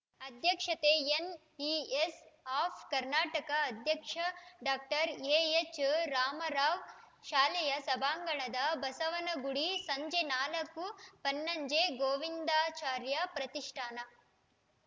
ಅಧ್ಯಕ್ಷತೆ NES of Karnataka ಅಧ್ಯಕ್ಷ doctor ಎಎಚ್‌ರಾಮರಾವ್‌ ಶಾಲೆಯ ಸಭಾಂಗಣ ಬಸವನಗುಡಿ ಸಂಜೆ ನಾಲ್ಕು ಬನ್ನಂಜೆ ಗೋವಿಂದಾಚಾರ್ಯ ಪ್ರತಿಷ್ಠಾನ